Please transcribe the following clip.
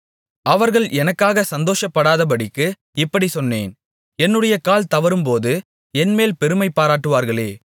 அவர்கள் எனக்காக சந்தோஷப்படாதபடிக்கு இப்படிச் சொன்னேன் என்னுடைய கால் தவறும்போது என்மேல் பெருமை பாராட்டுவார்களே